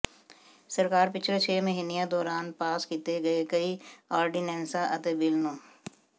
ਸਰਕਾਰ ਪਿਛਲੇ ਛੇ ਮਹੀਨਿਆਂ ਦੌਰਾਨ ਪਾਸ ਕੀਤੇ ਗਏ ਕਈ ਆਰਡੀਨੈਂਸਾਂ ਅਤੇ ਬਿੱਲ ਨੂੰ